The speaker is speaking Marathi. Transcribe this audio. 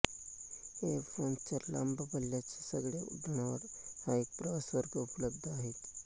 एर फ्रांसच्या लांब पल्ल्याच्या सगळ्या उड्डाणांवर हा प्रवासवर्ग उपलब्ध असतो